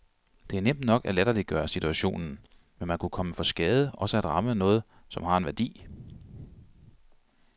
Det er nemt nok at latterliggøre situationen, men man kunne komme for skade også at ramme noget, som har en værdi.